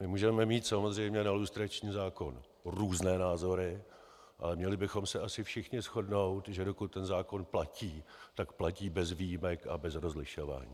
My můžeme mít samozřejmě na lustrační zákon různé názory, ale měli bychom se asi všichni shodnout, že dokud ten zákon platí, tak platí bez výjimek a bez rozlišování.